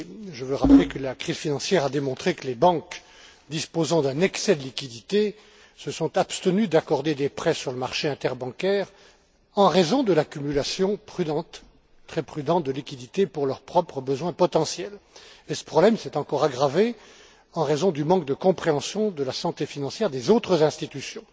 Je veux rappeler que la crise financière a démontré que les banques disposant d'un excès de liquidités se sont abstenues d'accorder des prêts sur le marché interbancaire en raison de l'accumulation très prudente de liquidités pour leurs propres besoins potentiels. Et ce problème s'est encore aggravé en raison du manque de compréhension de la santé financière des autres institutions.